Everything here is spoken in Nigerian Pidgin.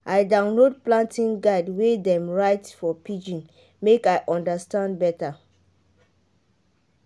i download planting guide wey dem write for pidgin make i understand better.